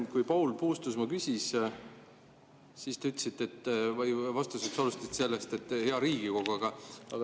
Kui Paul Puustusmaa küsis, siis te vastust alustasite sellest, et hea Riigikogu.